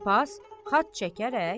Papaz xat çəkərək: